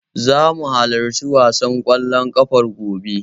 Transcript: Zamu halarci wasan ƙwallon ƙafar, gobe.